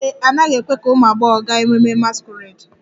Ee e, a naghị ekwe ka ụmụ agbọghọ gaa ememme masquerade